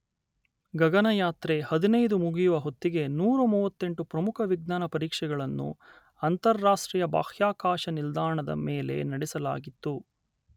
ಗಗನಯಾತ್ರೆ ಹದಿನೈದು ಮುಗಿಯುವ ಹೊತ್ತಿಗೆ ನೂರ ಮೂವತ್ತೆಂಟು ಪ್ರಮುಖ ವಿಜ್ಞಾನ ಪರೀಕ್ಷೆಗಳನ್ನು ಅಂತರರಾಷ್ಟ್ರೀಯ ಬಾಹ್ಯಾಕಾಶ ನಿಲ್ದಾಣದ ಮೇಲೆ ನಡೆಸಲಾಗಿತ್ತು.